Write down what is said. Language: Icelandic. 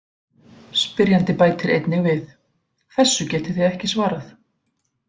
Spyrjandi bætir einnig við: Þessu getið þið ekki svarað!